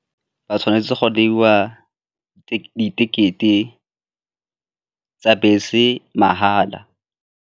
Ba tshwanetse go neiwa ticket-e tsa bese mahala.